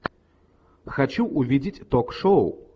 хочу видеть ток шоу